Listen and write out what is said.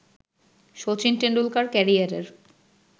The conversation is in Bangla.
শচীন টেন্ডুলকার ক্যারিয়ারের